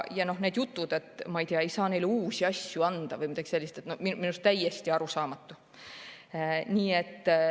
Ja need jutud, et, ma ei tea, ei saa neile uusi asju anda või midagi sellist – minu meelest täiesti arusaamatu.